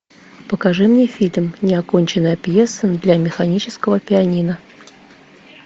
покажи мне фильм неоконченная пьеса для механического пианино